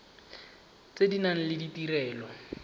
tse di nang le ditirelo